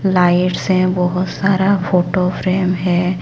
Lights हैं बहुत सारा फोटो फ्रेम हैं।